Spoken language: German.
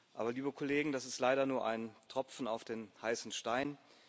Aber, liebe Kollegen, das ist leider nur ein Tropfen auf den heißen Stein.